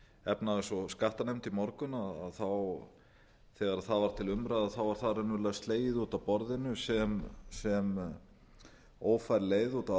efnahags og skattanefnd í morgun þegar það var til umræðu var það raunverulega slegið út af borðinu sem ófær leið út af